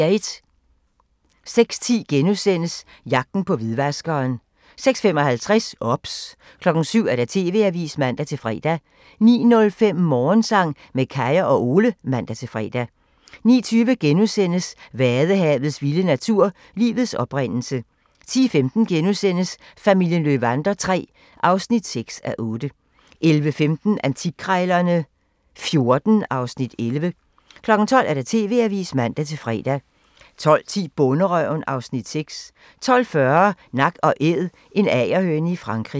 06:10: Jagten på hvidvaskeren * 06:55: OBS 07:00: TV-avisen (man-fre) 09:05: Morgensang med Kaya og Ole (man-fre) 09:20: Vadehavets vilde natur: Livets oprindelse * 10:15: Familien Löwander III (6:8)* 11:15: Antikkrejlerne XIV (Afs. 11) 12:00: TV-avisen (man-fre) 12:10: Bonderøven (Afs. 6) 12:40: Nak & Æd – en agerhøne i Frankrig